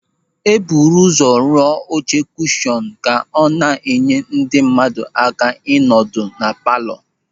E buru ụzọ rụọ oche kushọnụ ka ọ na-enye ndị mmadụ aka ịnọ ọdụ na palọ.